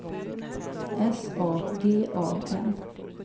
S A G A N